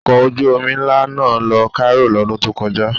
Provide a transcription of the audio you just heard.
Ọkọ̀ ojú-omi ńlá náà lọ Cairo lọ́dún tó kọjá.